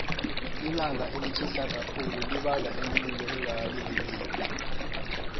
ilanga elitjhisa kakhulu libanga imililo engakalindeleki